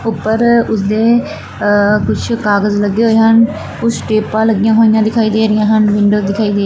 ਊਪਰ ਉਸਦੇ ਕੁਛ ਕਾਗਜ ਲੱਗੇ ਹੋਏ ਹਨ ਕੁਛ ਟੇਪਾਂ ਲੱਗੀਆਂ ਹੋਈਆਂ ਦਿਖਾਈ ਦੇ ਰਹੀਆ ਹਨ ਵਿੰਡੋਜ਼ ਦਿਖਾਈ ਦੇ --